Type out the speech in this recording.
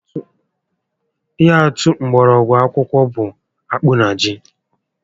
Ihe atụ mgbọrọgwụ ákùkù bụ akpụ na ji